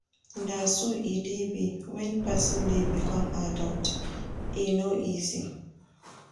Na so e dey be wen person dey become adult, e no easy.